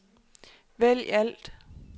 vælg alt